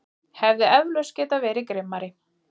Hefði eflaust getað verið grimmari.